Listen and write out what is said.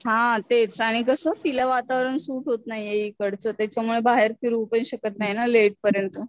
हा तेच आणि कस तिला वातावरण सूट होत नाहीये इकडचं त्याच्यामुळे बाहेर फिरूपण शकत नाही ना लेट पर्यंत.